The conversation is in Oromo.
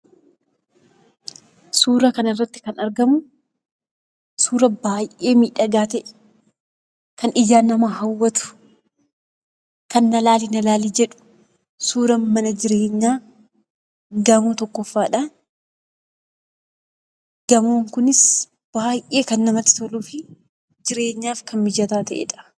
Suuraa kanarartti kan argamu suuraa baay'ee miidhagaa ta'e, kan ijaan nama hawwatu, kan na ilaali ilaali jedhu, suuraa mana jireenyaa gamoo tokkoffaadha. Gamoon kunis baay'ee kan namatti toluu fi jireenyaaf kan mijataa ta'edha.